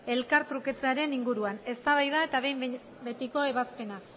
elkar trukatzearen inguruan eztabaida eta behin betiko ebazpena